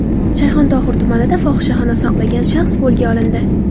Shayxontohur tumanida fohishaxona saqlagan shaxs qo‘lga olindi.